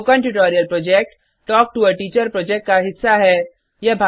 spoken tutorial project talk to a teacher project का हिस्सा है